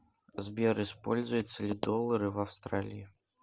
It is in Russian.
сбер используются ли доллары в австралии